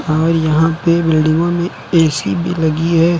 और यहां पे बिल्डिंगों में ऐ_सी भी लगी है।